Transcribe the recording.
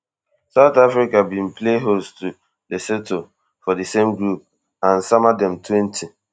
south africa bin play host to lesotho for di same group and sama dem twenty